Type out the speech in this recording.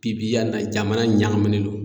Pi pi yanni na jamana in ɲagaminen do.